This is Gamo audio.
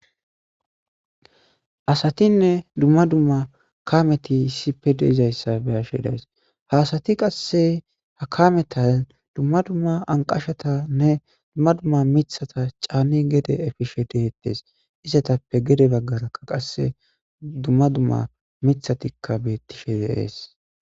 Asatinne dumma dumma kaameti issippe de'izayssa be'ashe days; ha asati qasse ha kaametan dumma dumma anqashatanne dumma dumma miththata caani gede epishe de'etees; izetappe gede bagaarakka qasse dumma dumma miththatika betishe de'es.